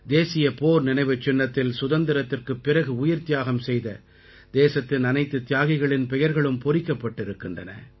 தேசிய போர் நினைவுச்சின்னத்தில் சுதந்திரத்திற்குப் பிறகு உயிர்த்தியாகம் செய்த தேசத்தின் அனைத்துத் தியாகிகளின் பெயர்களும் பொறிக்கப்பட்டிருக்கின்றன